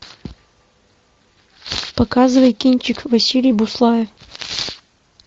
показывай кинчик василий буслаев